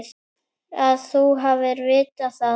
Að þú hafir vitað það.